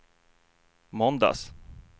måndags